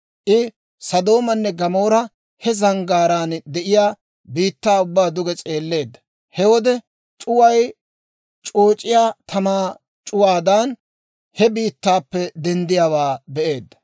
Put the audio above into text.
I Sodoomanne Gamoora he zanggaaraan de'iyaa biittaa ubbaa duge s'eelleedda; he wode c'uway c'ooc'iyaa tamaa c'uwaadan he biittaappe denddiyaawaa be'eedda.